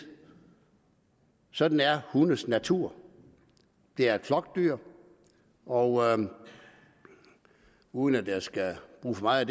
sådan er hundes natur det er et flokdyr og uden at jeg skal bruge for meget